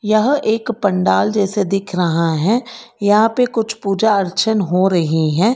यह एक पंडाल जैसे दिख रहा है यहां पे कुछ पूजा अर्चन हो रही है।